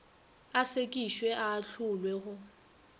a sekišwe a ahlolwe go